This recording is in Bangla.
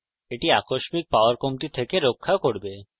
এটি আকস্মিক power কমতি থেকে আপনাকে রক্ষা করবে